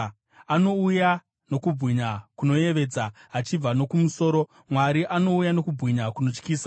Anouya nokubwinya kunoyevedza achibva nokumusoro; Mwari anouya nokubwinya kunotyisa.